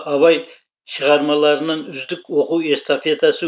абай шығармаларынан үздік оқу эстафетасы